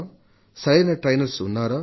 సరైన శిక్షకులు ఉన్నారా